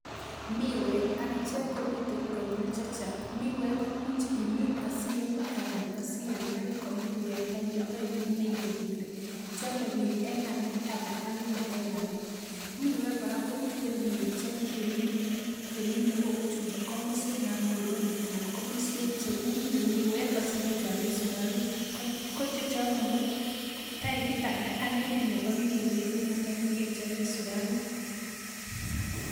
Miwek akichek komitei konyil chechang. Miwek komuch imin asiame ana asialdoi komiwek typit aino neinget ile chamei biik eng amet ana anyiny en amet. Miwek kora komitei miwek chekeminei kou komoswekab Muhoroni anan komoswek chekiminei miwek asikechobe sukaruk ko chechono ko typit age ak ikine notok nekechobe sukaruk.